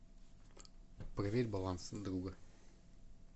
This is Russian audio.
проверь баланс друга